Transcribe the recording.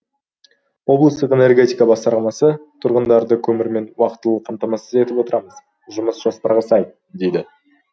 облыстық энергетика басқармасы тұрғындарды көмірмен уақытылы қамтамасыз етіп отырмыз жұмыс жоспарға сай дейді